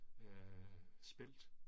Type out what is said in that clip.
Af spelt